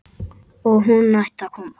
Og hún hætti að koma.